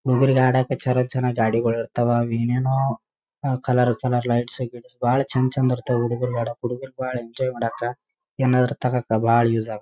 ಹುಡುಗರಿಗೆ ಆಡಕ್ಕ ಚಲೋ ಚೆನ್ನಾಗಿ ಗಾಡಿಗಳಿರ್ತವ ಏನೇನೋ ಕಲರ ಕಲರ ಲೈಟ್ಸ್‌ ಗೈಟ್ಸ್‌ ಬಾಳ ಚಂದಚಂದ ಇರ್ತವ ಹುಡುಗ್ರು ಆಡಕ್ಕ ಹುಡುಗ್ರು ಬಾಳ ಎಂಜಾಯ್‌ ಮಾಡಕ್ಕ ಏನಾದ್ರು ತಗೊಕ್ಕ ಬಾಳ ಯೂಸ್‌ ಆಗ--